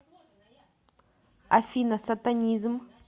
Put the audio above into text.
афина сатанизм